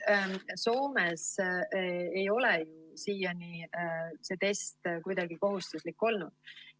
Soomes ei ole siiani see test kuidagi kohustuslik olnud.